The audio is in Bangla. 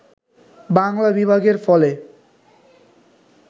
বাংলা বিভাগের ফলে